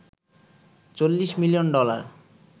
৪০ মিলিয়ন ডলার